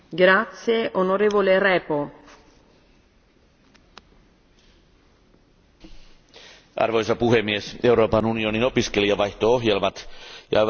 Arvoisa puhemies, Euroopan unionin opiskelijavaihto ohjelmat ja aivan erityisesti Erasmus ovat EUn merkittävimpiä menestystarinoita, unionin varsinainen kruununjalokivi.